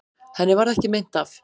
Henni varð ekki meint af.